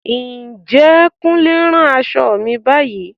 Ǹjẹ́ Kúnlé ń rán aṣọ mi báyìí?